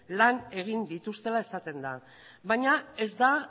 lan egin dituztela esaten da baina ez da